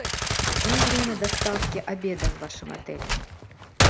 какое время доставки обеда в вашем отеле